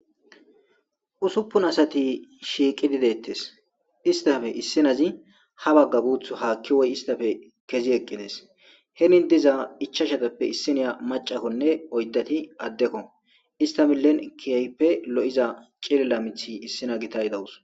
Usuppun asati shiiqi dideettes istafe issinazi ha bagga guuth haakki woy istafe kezi eqqides henin diza ichashatappe issiniya macakkonne oyddati addekko istamillen kiyayppe lo7iza cilila mithi issina gitay dawus.